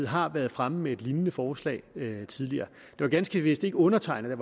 har været fremme med et lignende forslag tidligere det var ganske vist ikke undertegnede